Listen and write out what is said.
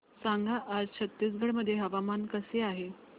सांगा आज छत्तीसगड मध्ये हवामान कसे आहे